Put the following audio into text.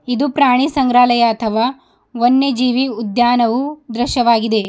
ಇದು ಪ್ರಾಣಿ ಸಂಗ್ರಹಲಾಯ ಅಥವಾ ವನ್ಯಜೀವಿ ಉದ್ಯಾನವು ದೃಶ್ಯವಾಗಿದೆ.